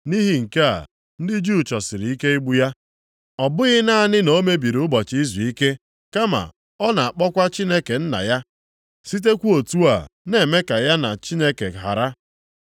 Nʼihi nke a, ndị Juu chọsịrị ike igbu ya. Ọ bụghị naanị na o mebiri ụbọchị izuike, kama ọ na-akpọkwa Chineke Nna ya, sitekwa otu a na-eme ka ya na Chineke hara.